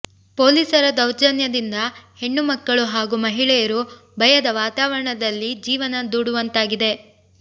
ಪೊಲೀಸರ ದೌರ್ಜನ್ಯದಿಂದ ಹೆಣ್ಣು ಮಕ್ಕಳು ಹಾಗೂ ಮಹಿಳೆಯರು ಭಯದ ವಾತಾರವಣದಲ್ಲಿ ಜೀವನ ದೂಡುವಂತಾಗಿದೆ